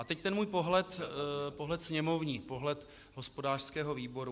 A teď ten můj pohled sněmovní, pohled hospodářského výboru.